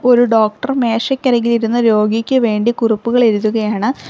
ഒരു ഡോക്ടർ മേശക്കരികിലിരുന്നു രോഗിക്ക് വേണ്ടി കുറിപ്പുകൾ എഴുതുകയാണ്.